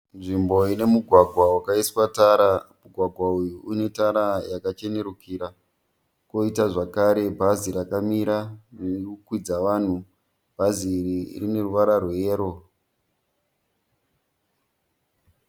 Nzvimbo ine mugwagwa wakaiswa tara. Mugwagwa uyu une tara yakachenurukira. Koita zvakare bhazi rakamira ririkukwidza vanhu. Bhazi iri rine ruvara rweyero.